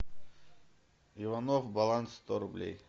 иванов баланс сто рублей